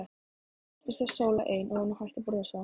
Eftir stóð Sóla ein og var nú hætt að brosa.